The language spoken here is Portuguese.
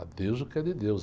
A Deus o que é de Deus.